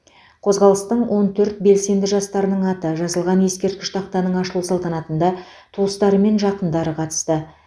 қозғалыстың он төрт белсенді жастарының аты жазылған ескерткіш тақтаның ашылу салтанатында туыстары мен жақындары қатысты